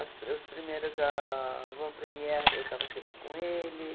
As as primeiras avant-premières, eu estava sempre com ele.